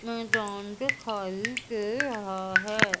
मैदान दिखाई दे रहा है।